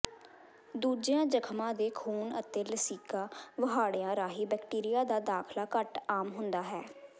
ਦੂਜੀਆਂ ਜਖਮਾਂ ਦੇ ਖ਼ੂਨ ਅਤੇ ਲਸੀਕਾ ਵਹਾੜਿਆਂ ਰਾਹੀਂ ਬੈਕਟੀਰੀਆ ਦਾ ਦਾਖਲਾ ਘੱਟ ਆਮ ਹੁੰਦਾ ਹੈ